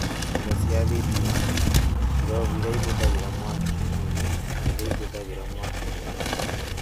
Indo cia thitima; ngirobu iria ihũthagĩra mwaki mũnini na iria ihũthagĩra mwaki mũingĩ